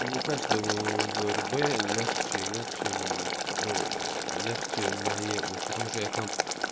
мне кажется врб легче играть чем ну легче на е что я там